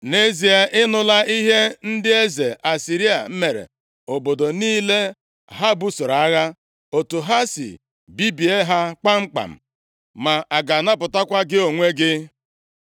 Nʼezie a, ị nụla ihe ndị eze Asịrịa mere obodo niile ha busoro agha, otu ha si bibie ha kpamkpam. Ma a ga-anapụtakwa gị onwe gị?